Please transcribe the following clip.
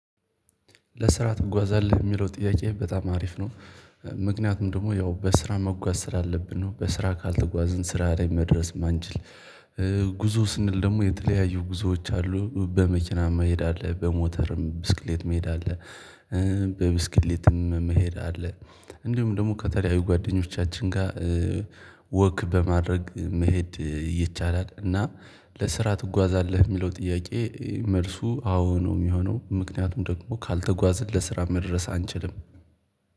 ለስራ ትጓዛለህ የሚለው ጥያቄ በጣም አሪፍ ነው። ምክንያቱም ደግሞ ያው በስራ መጓዝ ስላለብን ነው በስራ ካልተጓዝን ስራ ላይ መድረስ ማንችል። ጉዞ ስንል ደግሞ የተለያዩ ጉዞዎች አሉ በመኪና መሄድ አለ በሞተርም ብስክሌት መሄድ አለ። በብስክሌትም መሄድ አለ። እንዲሁም ደግሞ ከተለያዩ ጓደኞቻችን ጋር ወክ በማድረግ መሄድ ይቻላል። እና ለስራ ትጓዛለህ የሚለው ጥያቄ መልሱ አዎ ነው የሚሆነው ምክንያቱም ደግሞ ካልተጓዝን ለስራ መድረስ አንችልም።